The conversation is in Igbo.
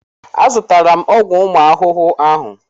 Azụtala m ọgwụ ụmụ ahụhụ ahụ.